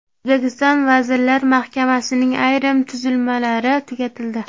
O‘zbekiston Vazirlar Mahkamasining ayrim tuzilmalari tugatildi.